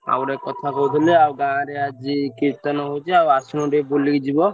ଆଉ ଗୋଟେ କଥା କହୁଥେଲି ଆଉ ଗାଁ ରେ ଆଜି କୀର୍ତ୍ତନ ହଉଚି ଆଉ ଆସୁନ ଟିକେ ବୁଲିକି ଯିବ।